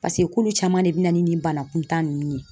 paseke k'olu caman de bɛ na ni nin banakuntan ninnu ye.